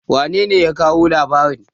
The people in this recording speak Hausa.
wanene ya kawo labarin?